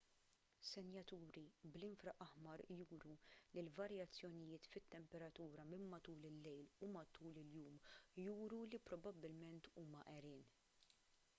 senjaturi bl-infraaħmar juru li l-varjazzjonijiet fit-temperatura minn matul il-lejl u matul il-jum juru li probabbilment huma għerien